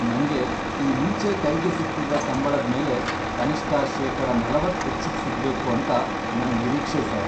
ನಂಗೆ ಈ ಮುಂಚೆ ಕೈಗೆ ಸಿಗ್ತಿದ್ದ ಸಂಬ್ಳದ್ಮೇಲೆ ಕನಿಷ್ಟ ಶೇಕಡ ನಲವತ್ತ್ ಹೆಚ್ಚಿಗ್ ಸಿಗ್ಬೇಕು ಅಂತ ನನ್ ನಿರೀಕ್ಷೆ ಸರ್.